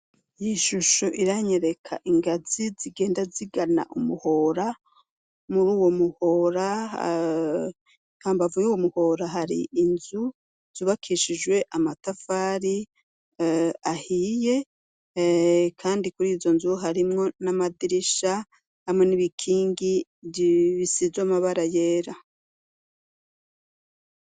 Iyishusho iranyereka ingazi zigenda zigana umuhora muruwo muhora hambavu yuwo muhora hari inzu zubakishijwe amatafari ahiye kandi kurizo nzu harimwo n'amadirisha hamwe n'ibikingi bisizwe amabara yera.